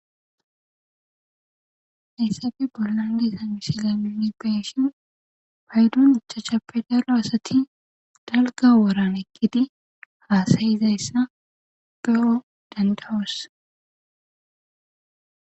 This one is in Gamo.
Hayssappe bollandiszaysiamisila muni peshin paydun uchachappe daro asati dalga woran eqkiti haasayizayssa ge7o dandawos